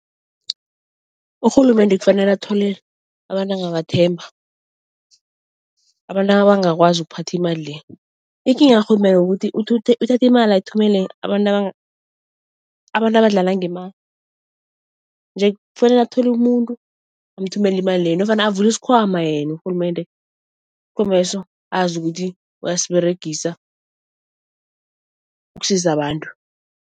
Urhulumende kufanele athole abantu angabathemba, abantu abangakwazi ukuphatha imali le. Ikinga karhulumende kukuthi uthatha imali ayithumele abantu abadlala ngemali. Nje kufanele athole umuntu amthumele imali le nofana avula isikhwama yena urhulumende, isikhwameso azi ukuthi uyasiberegisa ukusiza abantu.